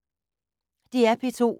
DR P2